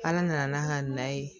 Ala nana n'a ka na ye